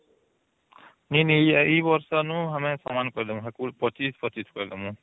ନି ନି ଇ ବରସାନୁ ଆମର ସମାନ କହିଲା ଆମର ୨୫ ୨୫ କହିଲନୁ